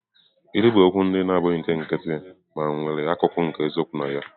Ilu bụ okwu ndị na-abụghị nke nkịtị mana nwere akụkụ nke eziokwu na ya.